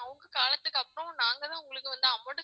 அவங்க காலத்துக்கு அப்புறம் நாங்க தான் உங்களுக்கு வந்து amount